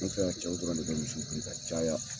An fɛ yan cɛw dɔrɔn ne bi misi biri ka caya